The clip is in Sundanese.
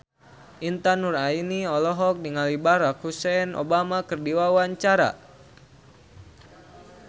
Intan Nuraini olohok ningali Barack Hussein Obama keur diwawancara